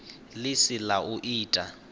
ḽi si ḽa u ita